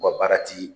U ka baara ti